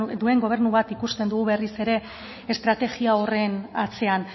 duen gobernu bat ikusten dugu berriz ere estrategia horren atzean